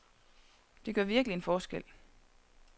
Det gør virkelig en forskel.